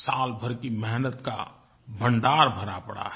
साल भर की मेहनत का भण्डार भरा पड़ा है